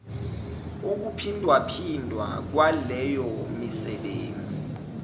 ukuphindwaphindwa kwaleyo misebenzi